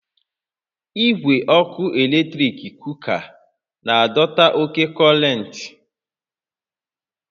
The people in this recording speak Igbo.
Igwe ọkụ eletrik kuka na-adọta oke kọntentị